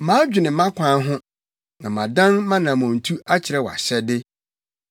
Madwene mʼakwan ho na madan mʼanammɔntu akyerɛ wʼahyɛde.